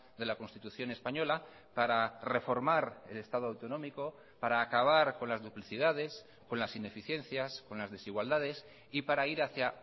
de la constitución española para reformar el estado autonómico para acabar con las duplicidades con las ineficiencias con las desigualdades y para ir hacia